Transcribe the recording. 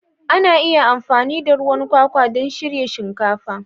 Ana iya amfani da ruwan kwakwa don shirya shinkafa.